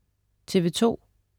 TV2: